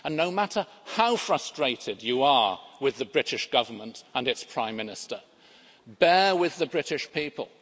No matter how frustrated you are with the British Government and its Prime Minister, bear with the British people.